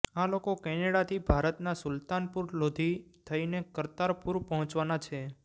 આ લોકો કેનેડાથી ભારતના સુલ્તાનપુર લોધી થઈને કરતારપુર પહોંચવાના છે